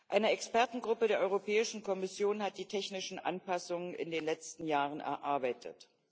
Eine Expertengruppe der Europäischen Kommission hat die technischen Anpassungen in den letzten Jahren erarbeitet.